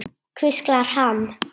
hvíslar hann.